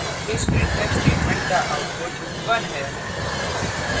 इस printf statement का output 1 है